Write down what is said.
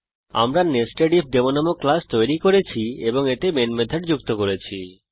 আমরা নেসেডিফডেমো নামক ক্লাস তৈরি করেছি এবং এতে মেন মেথড যুক্ত করেছি